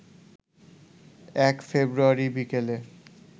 ১ February বিকেলে